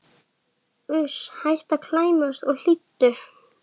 Uss, hættu að klæmast og hlýddu!